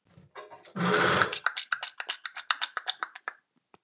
Langar þig til að vita það?